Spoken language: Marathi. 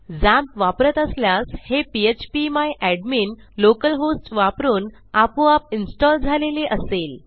झॅम्प वापरत असल्यास हे PHP my admin local host वापरून आपोआप इन्स्टॉल झालेले असेल